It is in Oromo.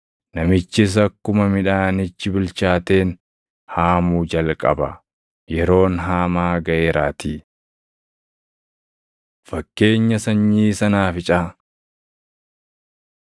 Namichis akkuma midhaanichi bilchaateen haamuu jalqaba; yeroon haamaa gaʼeeraatii.” Fakkeenya Sanyii Sanaaficaa 4:30‑32 kwf – Mat 13:31,32; Luq 13:18,19